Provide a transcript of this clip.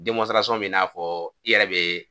be n'a fɔɔ i yɛrɛ be